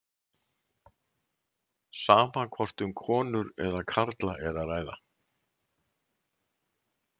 Sama hvort um konur eða karla er að ræða.